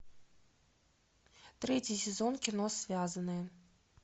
третий сезон кино связанные